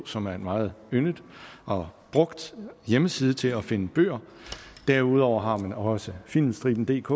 som er en meget yndet og brugt hjemmeside til at finde bøger derudover har man også filmstribendk